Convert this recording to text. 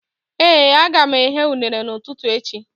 Ee, aga m eghe unere n'ụtụtụ echi